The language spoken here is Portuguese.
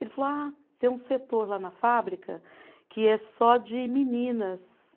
Ele falou, ah, tem um setor lá na fábrica que é só de meninas.